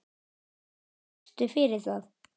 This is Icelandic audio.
Hvað gafstu fyrir það?